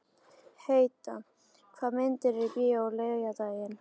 Heida, hvaða myndir eru í bíó á laugardaginn?